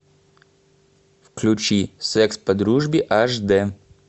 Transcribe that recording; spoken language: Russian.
включи секс по дружбе аш д